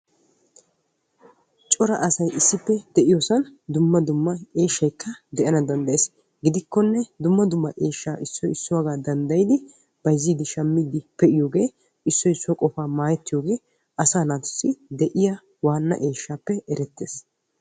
Cora asay issippe de'iyoo sohuwan cora eeshshayikka de'ana danddayees. gidikkone dumma dumma eeshshaa issoy issuwaagaa danddayidi bayzziidi shammiidi pe'iyoogee issoy issuwaa qofaa maayetiyoogee asaa naatussi de'iyaa eeshshaappe erettees.